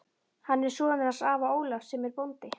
Hann er sonur hans afa Ólafs sem er bóndi.